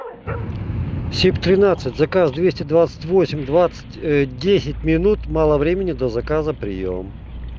сеп тринадцать заказ двести двадцать восемь двадцать десять минут мало времени до заказа приём